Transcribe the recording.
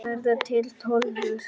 Þannig verða til Tólfur.